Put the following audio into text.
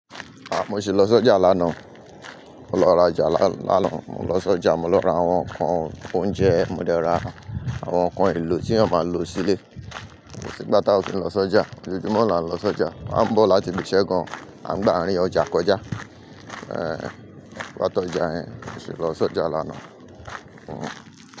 Ah, mo sì lọ sí ọjà lánàá. Mo lọ rajà lánàá, mo lọ sí ọjà, mo lọ ra àwọn nǹkan oúnjẹ, mo dẹ ra àwọn nǹkan èlò tí a máa lò sílé. Ko s'ìgbá ta ò kin lọ sí ọjà. Joòjúmọ́ la ń lọ sí ọjà. A ń bọ̀ láti ibi iṣẹ́ gan-an, a ń gbá àárín ọjà kọjá. Ehn, gbátọ ọjà ẹ. Mo sì lọ sí ọjà lánàá. Hmm.